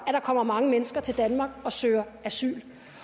at der kommer mange mennesker til danmark og søger asyl